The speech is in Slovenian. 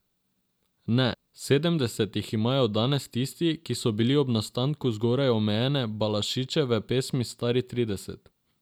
Ne, sedemdeset jih imajo danes tisti, ki so bili ob nastanku zgoraj omenjene Balaševićeve pesmi stari trideset.